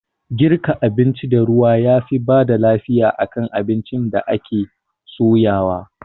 Girka abinci da ruwa yafi bada lafiya akan abincin da ake soyawa